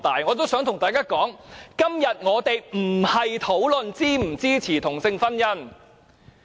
我想對大家說，我們今天不是討論是否支持同性婚姻。